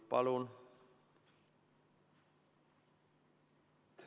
Palun!